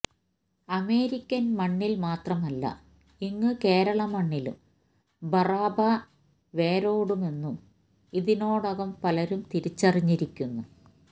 American മണ്ണിൽ മാത്രമല്ല ഇങ്ങു കേരളമണ്ണിലും ബറാബ വേരോടുമെന്നു ഇതിനോടകം പലരും തിരിച്ചറിഞ്ഞിരിക്കുന്നു